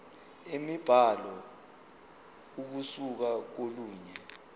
imibhalo ukusuka kolunye